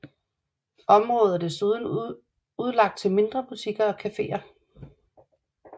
Området er desuden udlagt til mindre butikker og caféer